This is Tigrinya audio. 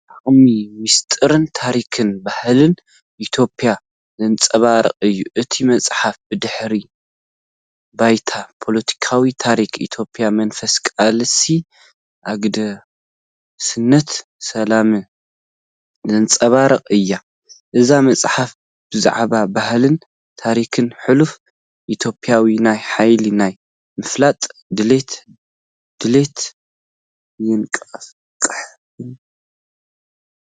ዓሚቕ ምስጢርን ታሪኽን ባህልን ኢትዮጵያ ዘንጸባርቕ እዩ። እታ መጽሓፍ ብድሕረ ባይታ ፖለቲካዊ ታሪኽ ኢትዮጵያ መንፈስ ቃልሲ፡ ኣገዳስነት ሰላም ዘንጸባርቕ እያ። እዛ መጽሓፍ ብዛዕባ ባህልን ታሪኽን ሕሉፍ ኢትዮጵያ ናይ ሓይሊ፣ ናይ ምፍላጥ ድሌት ድሌት የነቓቕሕ።